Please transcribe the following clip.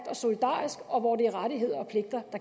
er solidarisk og hvor det er rettigheder og pligter